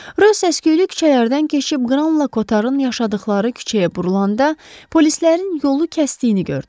Rö səs-küylü küçələrdən keçib Qranlakotarın yaşadıqları küçəyə burulanda polislərin yolu kəsdiyini gördü.